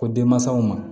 Ko denmansaw ma